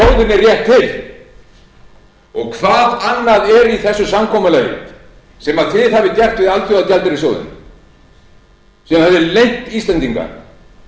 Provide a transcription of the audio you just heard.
rétt til hvað annað er í þessu samkomulagi sem þið hafið gert við alþjóðagjaldeyrissjóðinn sem þið hafið leynt íslendinga